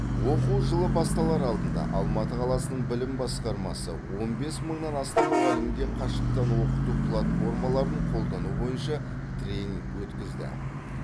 оқу жылы басталар алдында алматы қаласының білім басқармасы он бес мыңнан астам мұғалімге қашықтан оқыту платформаларын қолдану бойынша тренинг өткізді